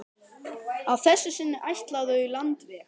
Að þessu sinni ætla þau landveg.